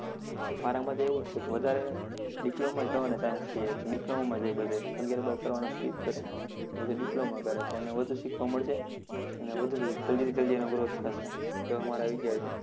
મારા મતે એવું છે વધારે diploma માં જવાના chance રહે, diploma માં જાય બધા અગિયાર બાર કરવાનું skip કરે, અને જે diploma કરશે એને વધુ શીખવા મળશે, અને વધુ જલ્દી-જલ્દી એનો growth થશે એવો મારો વિચાર છે.